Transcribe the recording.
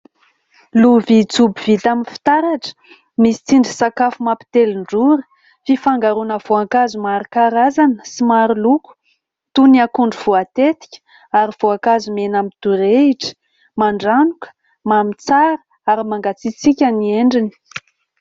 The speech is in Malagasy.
Lovia jobo vita amin'ny fitaratra. Misy tsindrin-tsakafo mampitelin-drora. Fifangaroana voankazo maro karazana sy maro loko toy ny akondro voatetika ary voankazo mena midorehitra, mandranoka, mamy tsara ary mangatsiatsiaka ny endriny.